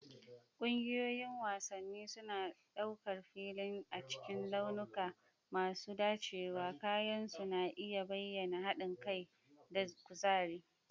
Ƙungiyoyin wasanni suna ɗaukar filin cikin launuka masu dacewa, kayan su na iya bayyana haɗin kai da kuzari.